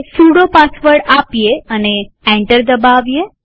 sudo password આપીએ અને enter દબાવીએ